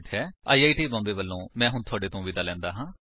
I I T Bombay ਵਲੋਂ ਮੈਂ ਹੁਣ ਤੁਹਾਡੇ ਤੋਂ ਵਿਦਾ ਲੈਂਦਾ ਹਾਂ